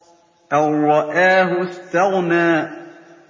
أَن رَّآهُ اسْتَغْنَىٰ